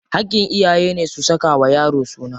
Haƙƙin iyayene su saka wa yaro suna.